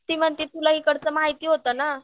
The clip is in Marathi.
ती म्हणती तुला हिकडचं माहिती होतं ना.